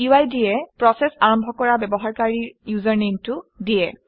UID এ প্ৰচেচ আৰম্ভ কৰা ব্যৱহাৰকাৰীৰ ইউজাৰনেমটো দিয়ে